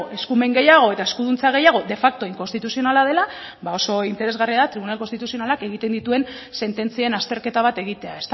eskumen gehiago eta eskuduntza gehiago de facto inkonstituzionala dela ba oso interesgarria da tribunal konstituzionalak egiten dituen sententzien azterketa bat egitea